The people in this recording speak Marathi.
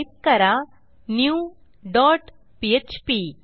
टाईप करा न्यू डॉट पीएचपी